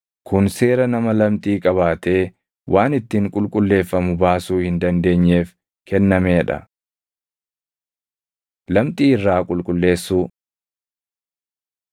Kun seera nama lamxii qabaatee waan ittiin qulqulleeffamu baasuu hin dandeenyeef kennamee dha. Lamxii Irraa Qulqulleessuu